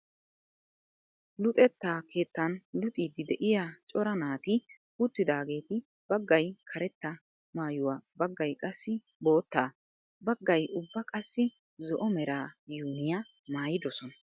Luxetta keettan luxiiddi de'iya cora naati uttidaageeti baggay karetta maayuwa baggay qassi boottaa baggay ubba qassi zo"o mera yuuniya maayidosona.